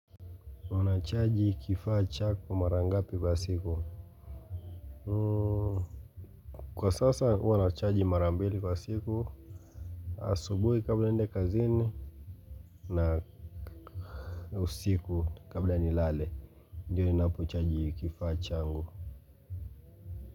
Wanachaji kifaa chako mara ngapi kwa siku kwa sasa huwa nachaji mara mbili kwa siku asubuhi kabla niende kazini na usiku kabla nilale ndio ninapochaji kifaa changu.